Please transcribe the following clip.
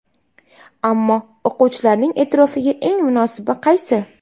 Ammo o‘quvchilarning e’tirofiga eng munosibi qaysi?